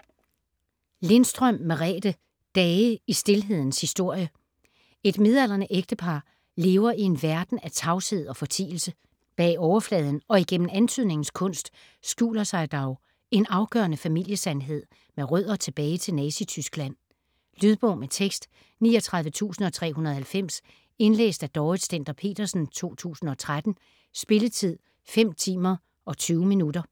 Lindstrøm, Merethe: Dage i stilhedens historie Et midaldrende ægtepar lever i en verden af tavshed og fortielse. Bag overfladen og igennem antydningens kunst skjuler sig dog en afgørende familiesandhed med rødder tilbage til Nazityskland. Lydbog med tekst 39390 Indlæst af Dorrit Stender-Petersen, 2013. Spilletid: 5 timer, 20 minutter.